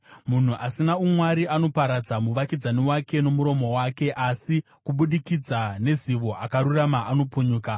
Munhu asina umwari anoparadza muvakidzani wake nomuromo wake, asi kubudikidza nezivo akarurama anopunyuka.